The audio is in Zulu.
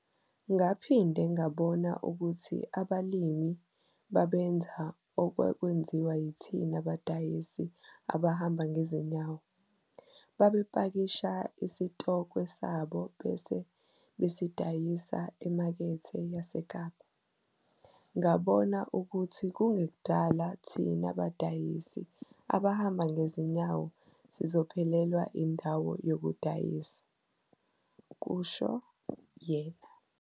"Ngaphinde ngabona ukuthi abalimi babenza okwakwenziwa yithina badayisi abahamba ngezinyawo - babepakisha isitokwe sabo bese besidayisa eMakethe yaseKapa. Ngabona ukuthi kungekudala thina badayisi abahamba ngezinyawo sizophelelwa indawo yokudayisa, "kusho yena.